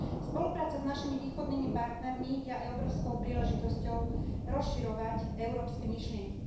Spolupráca s našimi východnými partnermi je aj obrovskou príležitosťou rozširovať európske myšlienky.